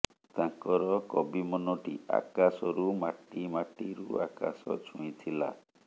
ତାଙ୍କର କବି ମନଟି ଆକାଶରୁ ମାଟି ମାଟିରୁ ଆକାଶ ଛୁଇଁଥିଲା